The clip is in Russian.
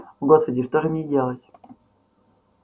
о господи что же мне делать